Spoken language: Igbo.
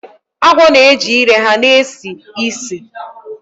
Agwo na-eji ire ha na-esi ísì